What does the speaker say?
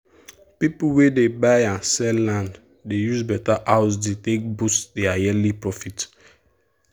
people wey dey buy and sell land dey use better house deal take boost their yearly profit.